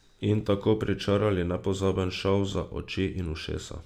In tako pričarali nepozaben šov za oči in ušesa.